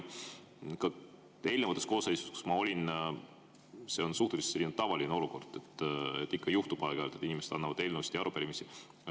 Eelnevates koosseisudes, kus ma olen olnud, oli see suhteliselt tavaline olukord, ikka juhtub aeg-ajalt, et inimesed annavad üle eelnõusid ja arupärimisi.